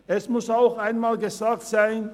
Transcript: Es muss auch einmal gesagt sein: